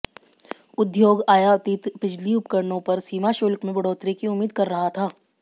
उद्योग आयातित बिजली उपकरणों पर सीमा शुल्क में बढ़ोतरी की उम्मीद कर रहा था